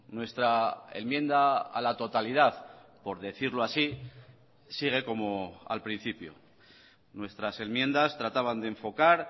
nuestra enmienda a la totalidad por decirlo así sigue como al principio nuestras enmiendas trataban de enfocar